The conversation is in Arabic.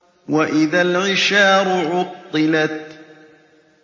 وَإِذَا الْعِشَارُ عُطِّلَتْ